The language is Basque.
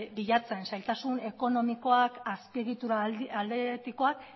bilatzen zailtasun ekonomikoak azpiegitura aldetikoak